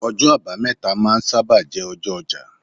ọjọ abameta ma n saba jé ọjọ oja